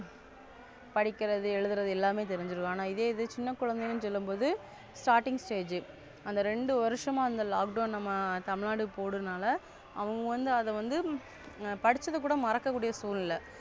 படிக்கிறது எழுதுறது எல்லாமே தெரிஞ்சிருக்கு. ஆனா இது சின்ன குழந்தையும் சொல்லும்போது Starting Stage அந்த ரெண்டு வருஷமா அந்த Lockdown நம்ம தமிழ்நாடு போடுனால அவங்க வந்து அத வந்து படிச்சது கூட மறக்க சூழ்நிலை.